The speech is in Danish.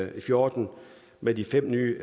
og fjorten med de fem nye